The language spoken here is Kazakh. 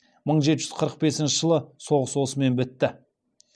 мың жеті жүз қырық бесінші жылы соғыс осымен бітті